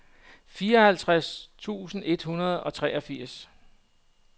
fireoghalvtreds tusind et hundrede og treogfirs